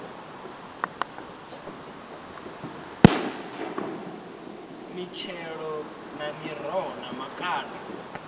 mitshelo na miroho na makanda